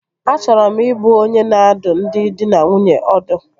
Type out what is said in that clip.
Achọrọ m ị bụ onye na-adụ ndị dị na nwunye ọdụ